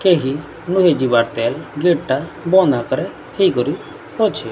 କେହି ନହିଯିବାର୍ ତେଲ୍ ଗେଟ୍ ଟା ବନ୍ଦ୍ ଆକାରେ ହେଇକରି ଅଛି।